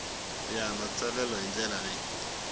ya matsalelo hi ndlela leyi